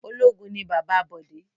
Ológun ni bàbá Bọ̀dé